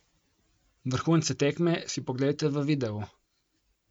Vrhunce tekme si poglejte v videu!